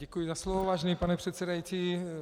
Děkuji za slovo, vážený pane předsedající.